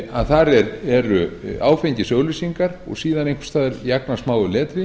að þar eru áfengisauglýsingar og síðan einhvers staðar í agnarsmáu letri